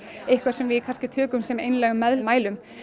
það sem við kannski tökum sem einlægum meðmælum